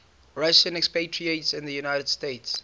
russian expatriates in the united states